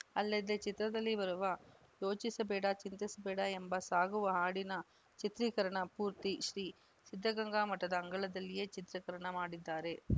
ಅಲ್ಲದೆ ಚಿತ್ರದಲ್ಲಿ ಬರುವ ಯೋಚಿಸಬೇಡ ಚಿಂತಿಸಬೇಡ ಎಂದು ಸಾಗುವ ಹಾಡಿನ ಚಿತ್ರೀಕರಣ ಪೂರ್ತಿ ಶ್ರೀ ಸಿದ್ದಗಂಗಾ ಮಠದ ಅಂಗಳದಲ್ಲೇ ಚಿತ್ರೀಕರಣ ಮಾಡಿದ್ದಾರೆ